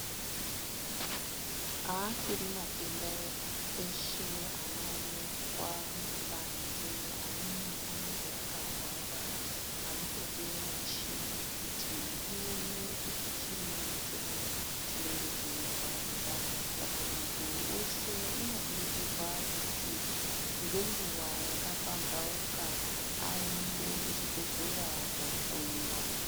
Aasiri matenda eshe anoonekwa kubanze, amweni anenge akahwara anotoda muchini kuti ione kuti chiini chemene chinenge chei rwadza saka mundu weshe unokurudzirwa kuti ngenguwa yakapamhauka, aende kuchibhedhlera koohloyiwa.